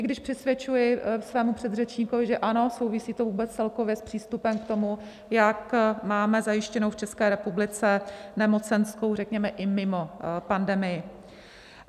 I když přisvědčuji svému předřečníkovi, že ano, souvisí to vůbec celkově s přístupem k tomu, jak máme zajištěnou v České republice nemocenskou, řekněme i mimo pandemii.